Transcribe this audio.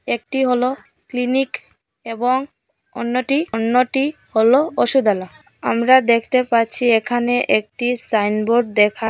একটি হল ক্লিনিক এবং অন্যটি অন্যটি হলো অসুধালয় আমরা দেখতে পাচ্ছি এখানে একটি সাইনবোর্ড দেখা--